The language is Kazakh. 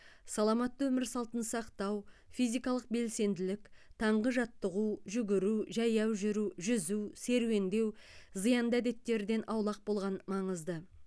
саламатты өмір салтын сақтау физикалық белсенділік таңғы жаттығу жүгіру жаяу жүру жүзу серуендеу зиянды әдеттерден аулақ болған маңызды